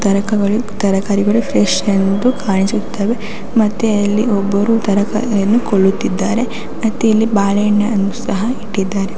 ತಾರಕಗಳು ತರಕಾರಿಗಳು ಫ್ರೆಶ್ ಎಂದು ಕಾಣಿಸುತ್ತವೆ ಮತ್ತೆ ಇಲ್ಲಿ ಒಬ್ಬರು ತರಕಾರಿಯನ್ನು ಕೊಳ್ಳುತ್ತಿದ್ದಾರೆ ಮತ್ತೆ ಇಲ್ಲಿ ಬಾಳೆ ಹಣ್ಣನ್ನು ಸಹ ಇಟ್ಟಿದ್ದಾರೆ.